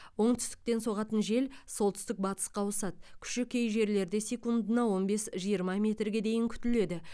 оңтүстіктен соғатын жел солтүстік батысқа ауысады күші кей жерлерде секундына он бес жиырма метрге дейін күтіледі